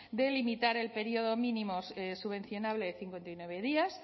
de limitar el periodo mínimo subvencionable de cincuenta y nueve días